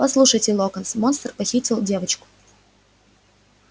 послушайте локонс монстр похитил девочку